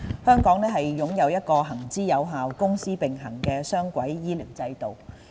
香港擁有一個行之有效、公私營並行的雙軌醫療制度。